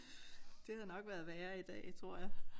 Det havde nok været værre i dag tror jeg